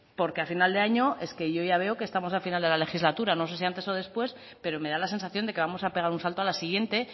porque al final de año es que yo ya veo que estamos a final de la legislatura no sé si antes o después pero me da la sensación de que vamos a pegar un salto a la siguiente